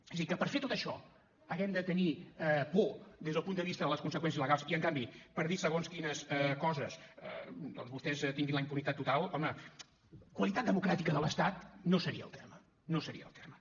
és a dir que per fer tot això hàgim de tenir por des del punt de vista de les conseqüències legals i en canvi per dir segons quines coses doncs vostès tinguin la impunitat total home qualitat democràtica de l’estat no seria el terme no seria el terme